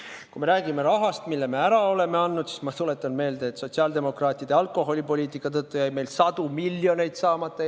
Kui me räägime rahast, mille me oleme andnud, siis ma tuletan meelde, et sotsiaaldemokraatide alkoholipoliitika tõttu jäi Eesti riigil sadu miljoneid saamata.